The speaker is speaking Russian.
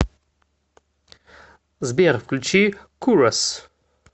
сбер включи курос